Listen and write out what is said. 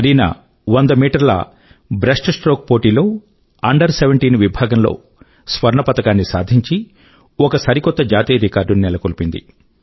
కరీనా 100 మీటర్ల బ్రెస్ట్స్ట్రోక్ పోటీలో అండర్ 17 విభాగం లో స్వర్ణ పతకాన్ని సాధించి ఒక సరికొత్త జాతీయ రికార్డు ని నెలకొల్పింది